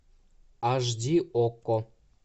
аш ди окко